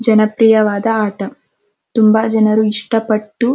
ಜನಪ್ರಿಯವಾದ ಆಟ ತುಂಬ ಜನರು ಎಸ್ಟೇ ಪಟ್ಟು --